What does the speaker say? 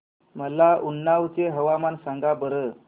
मला उन्नाव चे हवामान सांगा बरं